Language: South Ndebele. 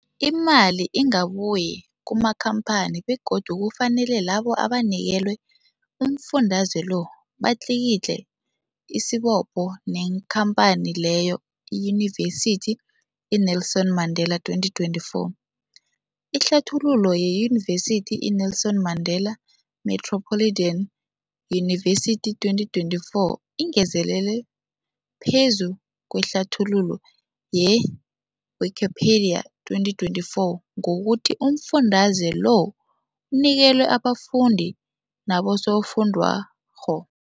Imali ingabuyi kumakhamphani begodu kufanele labo abanikelwa umfundaze lo batlikitliki isibopho neenkhamphani leyo, Yunivesity i-Nelson Mandela 2024. Ihlathululo yeYunivesithi i-Nelson Mandela Metropolitan University, 2024, ingezelele phezu kwehlathululo ye-Wikipedia, 2024, ngokuthi umfundaze lo unikelwa abafundi nabosofundwakgho.